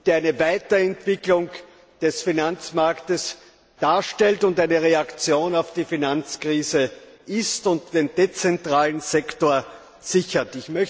der eine Weiterentwicklung des Finanzmarktes darstellt und eine Reaktion auf die Finanzkrise ist und den dezentralen Sektor sichert.